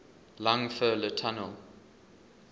lang fr le tunnel